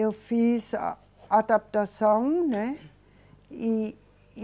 Eu fiz a adaptação, né? E, e